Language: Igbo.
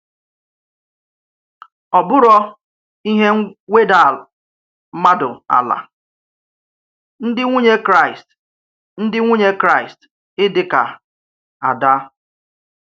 Ọ bụ̀rọ̀ ihe nwèdà mmadụ àlà, ndị nwùnyè Kraíst ndị nwùnyè Kraíst ídí ka Ádá.